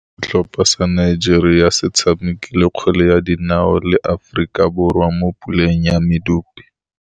Setlhopha sa Nigeria se tshamekile kgwele ya dinaô le Aforika Borwa mo puleng ya medupe.